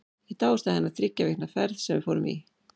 Ég dáðist að henni í þriggja vikna ferð sem við fórum til